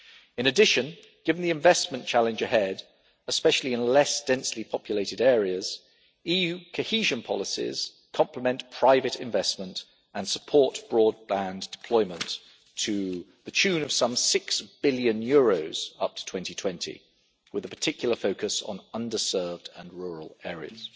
In addition, given the investment challenge ahead, especially in less densely populated areas, EU cohesion policies complement private investment and support broadband deployment to the tune of some EUR 6 billion up to 2020, with a particular focus on under served and rural areas.